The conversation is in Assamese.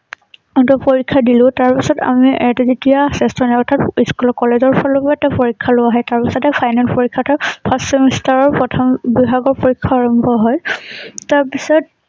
মই টো পৰীক্ষা দিলোঁ তাৰ পিছত আমি যেতিয়া অৰ্থাৎ স্কুল কলেজৰ ফালৰ পৰা এটা পৰীক্ষা লোৱা হয় তাৰ পিছত হে final পৰীক্ষা টো first semester ৰ প্ৰথম পৰীক্ষা আৰম্ভ হয় তাৰ পিছত